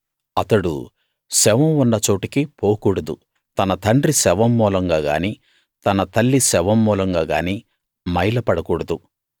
అతడు శవం ఉన్న చోటికి పోకూడదు తన తండ్రి శవం మూలంగా గానీ తన తల్లి శవం మూలంగా గానీ మైల పడకూడదు